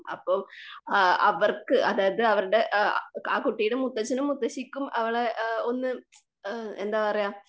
അപ്പം ആ അവർക്കു അതായത് അവരുടെ ആ ആ കുട്ടിയുടെ മുത്തച്ഛനും മുത്തശ്ശിക്കും അവളെ ഒന്ന് എന്താ പറയുക?